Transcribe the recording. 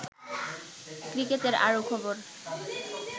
ক্রিকেটের আরো খবর